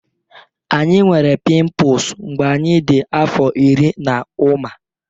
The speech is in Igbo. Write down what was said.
Anyị nwere pimples mgbe anyị dị afọ iri na ụma